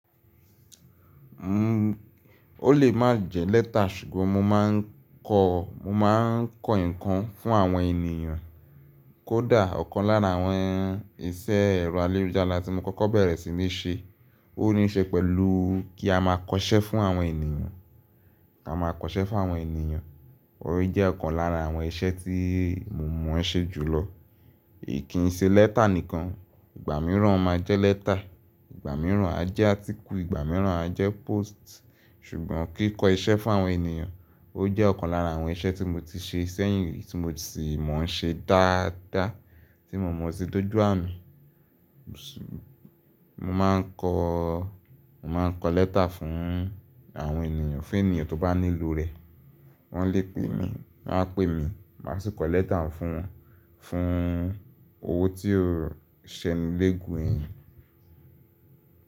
O lè má jẹ́ letter ṣùgbọ́n mo máa ń kọ, mo máa ń kọ nǹkan fún àwọn ènìyàn. Kó dà, ọ̀kan lára àwọn iṣẹ́ ẹ̀rọ ayelujara tí mo kọ́kọ́ bẹ̀rẹ̀ sí ní ṣe, ó ní í ṣe pẹ̀lú kí a máa kọṣẹ́ fún àwọn ènìyàn, a máa kọṣẹ́ fún àwọn ènìyàn. Òun jẹ́ ọ̀kan lára àwọn iṣẹ́ tí mo mọ̀ ọ́n ṣe jùlọ. Kì í ṣe letter nìkan, ìgbà mìíràn ó máa jẹ́ letter, ìgbà mìíràn á jẹ́ atikú, ìgbà mìíràn á jẹ́ post. Sùgbọ́n kí kọ iṣẹ́ fún àwọn ènìyàn, ó jẹ́ ọ̀kan lára àwọn iṣẹ́ tí mo ti ṣe ṣẹ́yìn tí mo sì mọ̀ ọ́n ṣe dáadáa, tí mo mọ̀ se do jù ami. Mo máa ń kọ, mo máa ń kọ letter fún àwọn ènìyàn, fún ènìyàn tó bá ní ló rẹ̀, wọ́n lè pè mí, wọ́n á pè mí, màá sì kọ letter fún wọn, fún owo tí ó ṣẹni légun ẹ̀yin.